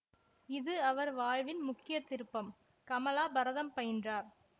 இது அவர் வாழ்வின் முக்கிய திருப்பம் கமலா பரதம் பயின்றார்